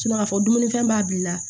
ka fɔ dumunifɛn b'a b'i la